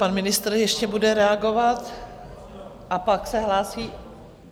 Pan ministr ještě bude reagovat a pak se hlásí...